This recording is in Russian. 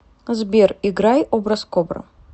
сбер играй образкобра